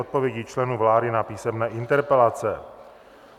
Odpovědi členů vlády na písemné interpelace